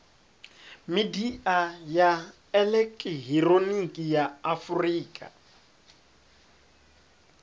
midia ya elekihironiki ya afurika